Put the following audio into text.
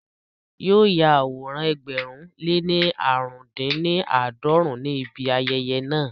Yóò ya àwòrán ẹgbẹ̀rún lé ní aarun-din-ni-aadọrun ní ibi ayẹyẹ náà